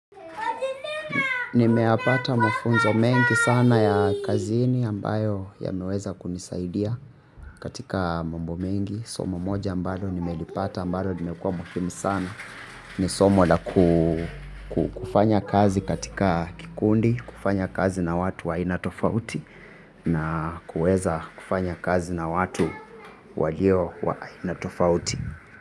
Nimeyapata mafunzo mengi sana ya kazini ambayo yameweza kunisaidia katika mambo mengi. Somo moja ambalo nimelipata ambalo limekua muhimu sana. Ni somo la kufanya kazi katika kikundi, kufanya kazi na watu wa aina tofauti na kueza kufanya kazi na watu walio wa aina tofauti.